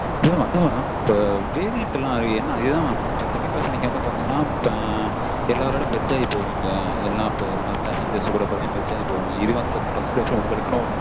mam அதே தான் mam இப்ப variant எல்லாம் அதே தான் mam second class ல வந்து நீங்க பார்த்தீங்கனா எல்லார் கூடயும் merge ஆகி போவீங்க எல்லா passengers கூடயும் merge ஆகி போவீங்க first class பாத்தீங்கனா உங்களுக்குனு